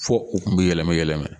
Fɔ u tun bɛ yɛlɛmɛ yɛlɛmɛ.